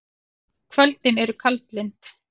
Kvöldin eru kaldlynd.